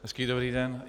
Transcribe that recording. Hezký dobrý den.